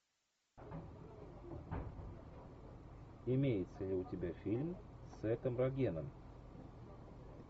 имеется ли у тебя фильм с сетом рогеном